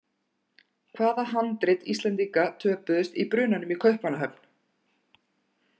Hvaða handrit Íslendinga töpuðust í brunanum í Kaupmannahöfn?